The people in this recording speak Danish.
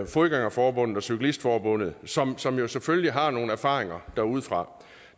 fodgænger forbund og dansk cyklist forbund som som jo selvfølgelig har nogle erfaringer derudefra